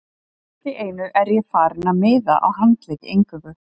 Allt í einu er ég farinn að miða á handleggi eingöngu.